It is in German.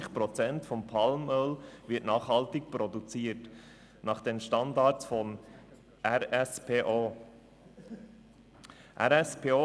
20 Prozent des Palmöls wird nachhaltig nach den Standards von Round table of sustainable palm oil (RSPO) produziert.